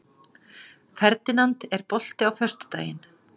Ferdinand, er bolti á föstudaginn?